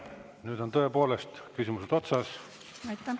Nüüd on tõepoolest küsimused otsas.